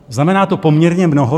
Znamená to poměrně mnoho.